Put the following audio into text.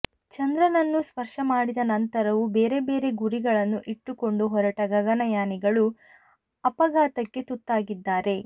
ಚಂದ್ರನನ್ನು ಸ್ಪರ್ಶಮಾಡಿದ ನಂತರವೂ ಬೇರೆ ಬೇರೆ ಗುರಿಗಳನ್ನು ಇಟ್ಟುಕೊಂಡು ಹೊರಟ ಗಗನಯಾನಿಗಳು ಅಪಘಾತಕ್ಕೆ ತುತ್ತಾಗಿದ್ದಾರೆ